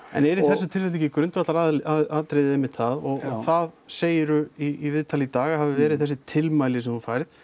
en er í þessu tilfelli ekki grundvallaratriðið einmitt það og það segirðu í viðtali í dag að hafi verið þessi tilmæli sem þú færð